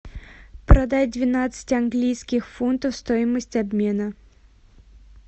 продать двенадцать английских фунтов стоимость обмена